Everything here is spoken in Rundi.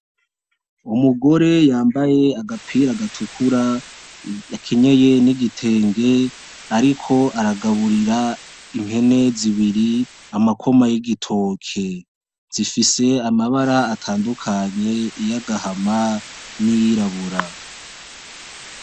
Umugore yambaye agapira gatukura, yakenyeye n'igitenge, ariko aragaburira impene zibiri amakoma y'igitoke. Zifise amabara atandukanye, iyagahama n'iyirabura.